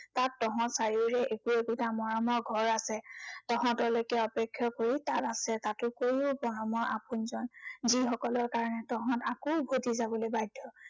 তাত তহঁত চাৰিওৰে একো একোটা মৰমৰ ঘৰ আছে। তহঁতলৈকে অপেক্ষা কৰি তাত আছে, তাটোতকৈও মৰমৰ আপোনজন। যি সকলৰ কাৰনে তহঁত আকৌ উভটি যাবলৈ বাধ্য়।